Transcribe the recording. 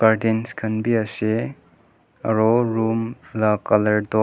curtains khan bi ase aro room la colour toh--